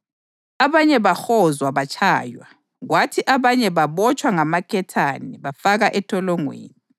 Abanye bahozwa batshaywa, kwathi abanye babotshwa ngamaketane bafakwa entolongweni.